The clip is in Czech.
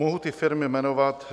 Mohu ty firmy jmenovat.